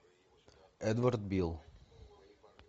эдвард бил